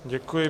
Děkuji.